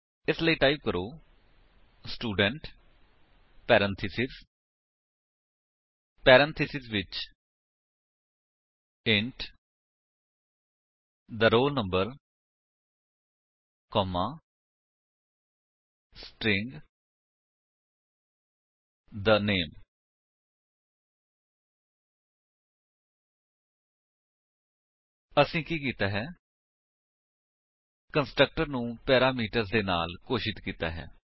ਇਸ ਲਈ ਟਾਈਪ ਕਰੋ ਸਟੂਡੈਂਟ ਪੈਰੇਂਥੀਸਿਸ ਪੈਰੇਂਥੇਸਿਸ ਵਿੱਚ int the roll number comma string the name ਅਸੀਂ ਕੀ ਕੀਤਾ ਹੈ ਕੰਸਟਰਕਟਰ ਨੂੰ ਪੈਰਾਮੀਟਰਸ ਦੇ ਨਾਲ ਘੋਸ਼ਿਤ ਕੀਤਾ ਹੈ